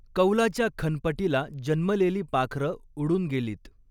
कौलाच्या खनपटीला जन्मलेली पाखरं उडून गेलीत